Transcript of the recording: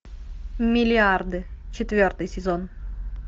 миллиарды четвертый сезон